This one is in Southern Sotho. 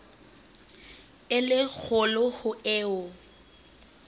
e le kgolo ho eo